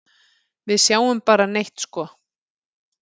Við sjáum bara neitt sko.